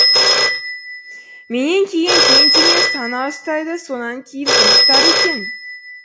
менен кейін кэнди мен сана ұстайды сонан кейін кім ұстар екен